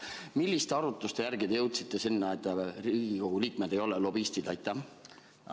Milliste arutluste tulemusena te jõudsite sinna, et Riigikogu liikmed ei ole lobistid?